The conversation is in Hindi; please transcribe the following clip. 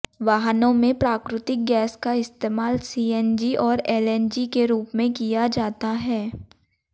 वाहनों में प्राकृतिक गैस का इस्तेमाल सीएनजी और एलएनजी के रूप में किया जाता है